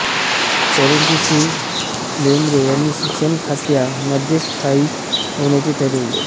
परंतु श्री बेंद्रे ह्यांनी शिक्षणखात्या मध्येच स्थायिक होण्याचे ठरविले